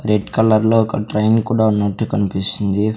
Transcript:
Red కలర్లో ఒక train కూడా ఉన్నట్టు కనిపిస్తుంది.